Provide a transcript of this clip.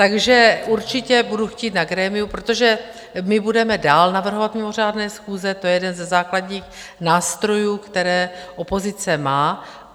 Takže určitě budu chtít na grémiu, protože my budeme dál navrhovat mimořádné schůze, to je jeden ze základních nástrojů, které opozice má.